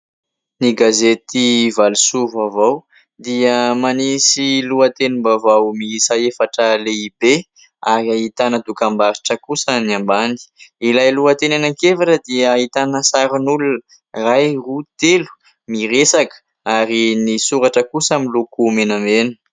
Ny gazety ''Valosoa vaovao'' dia manisy lohatenim-baovao miisa efatra lehibe ary ahitana dokam-barotra kosa ny ambany, ilay lohateny anankiefatra dia ahitana sarin'olona iray roa telo miresaka ary ny soratra kosa miloko menamena.